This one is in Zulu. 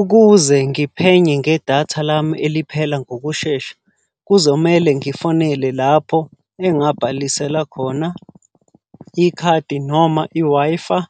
Ukuze ngiphenye ngedatha lami eliphela ngokushesha, kuzomele ngifonele lapho engabhalisela khona ikhadi noma i-Wi-Fi,